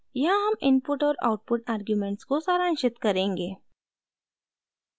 यहाँ हम इनपुट और आउटपुट आर्ग्युमेंट्स को सारांशित करेंगे